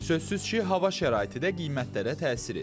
Sözsüz ki, hava şəraiti də qiymətlərə təsir edir.